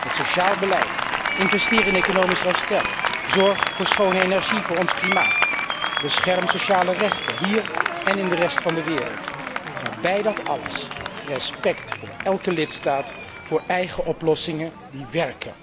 met sociaal beleid, investeren in economisch herstel, zorg voor schone energie voor ons klimaat, bescherming van sociale rechten, hier en in de rest van de wereld, maar bij dat alles respect voor elke lidstaat, voor eigen oplossingen die werken.